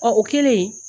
Ɔ o kɛlen